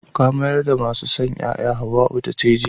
Ka mayar da masu sanyaya na maza, Hauwau ta ce jiya.